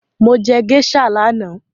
Mo jẹ géíṣà lánàá